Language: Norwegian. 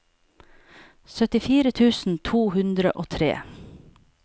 syttifire tusen to hundre og tre